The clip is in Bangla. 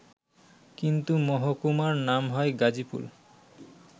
কিন্তু মহকুমার নাম হয় গাজীপুর